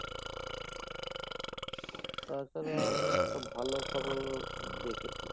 তাছাড়াও আমি একটা ভালো খবর দেখেছি।